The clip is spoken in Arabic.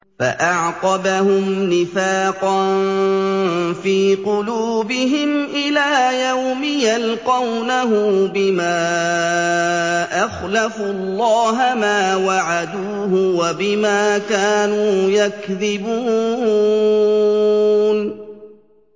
فَأَعْقَبَهُمْ نِفَاقًا فِي قُلُوبِهِمْ إِلَىٰ يَوْمِ يَلْقَوْنَهُ بِمَا أَخْلَفُوا اللَّهَ مَا وَعَدُوهُ وَبِمَا كَانُوا يَكْذِبُونَ